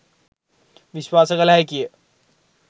විශ්වාස කළ හැකිය.